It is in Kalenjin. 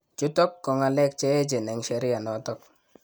chutok ko ngalek cheeechen eng sheria notok